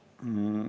Tunduks ju loogiline?